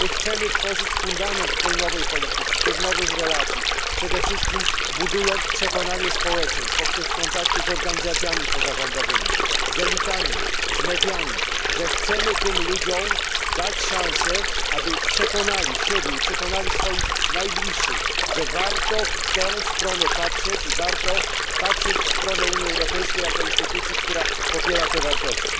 My chcemy tworzyć fundament tej nowej polityki, tych nowych relacji, przede wszystkim budując przekonanie społeczeństw poprzez kontakty z organizacjami pozarządowymi, z elitami, z mediami że chcemy tym ludziom dać szansę, by przekonali siebie i swoich najbliższych, że warto w tę stronę patrzeć i warto patrzeć w stronę Unii Europejskiej jako instytucji, która popiera te wartości.